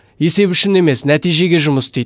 есеп үшін емес нәтижеге жұмыс істейді